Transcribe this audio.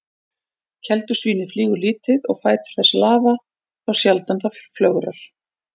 Keldusvínið flýgur lítið og fætur þess lafa þá sjaldan það flögrar.